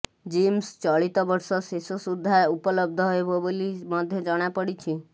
gyms ଚଳିତ ବର୍ଷ ଶେଷ ସୁଦ୍ଧା ଉବଲବ୍ଧ ହେବ ବୋଲି ମଧ୍ୟ ଜଣାପଡ଼ିଛି